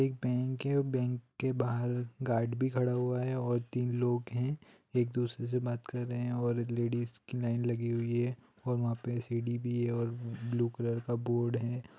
एक वैंक है। वैंक के वाहार गार्ड भि खाड़ा हूआ हे और तिन लोक हे। एक दूसरेसे बात भि कर रहैै है। और लेडिज कि लाइन लागि हूइ है। और उहापे सिड़ि भि है। और ब्लू कालार का वोर्ड है।